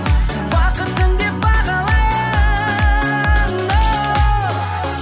бақытым деп бағалайын оу